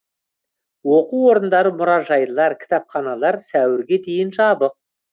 оқу орындары мұражайлар кітапханалар сәуірге дейін жабық